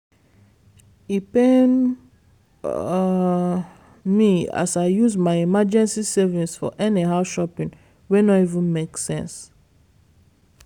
e paim um me as i use my emergency savings for anyhow shopping wey no even make sense